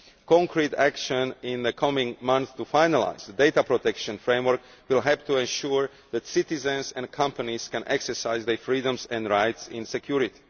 Concrete action in the coming months to finalise the data protection framework will have to ensure that citizens and companies can exercise their freedoms and rights in security.